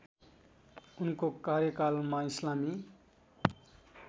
उनको कार्यकालमा इस्लामी